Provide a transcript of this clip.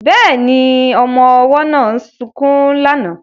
Bẹ́ẹ̀ni, ọmọ ọwọ́ náà sunkún lánàá